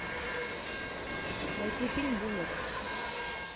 найти фильм бумер